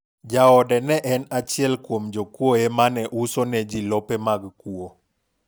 jaode ne en achiel kuom jokuoye mane uso ne ji lope mag kuwo